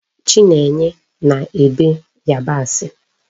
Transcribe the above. Chinenye na-ebe Yabasi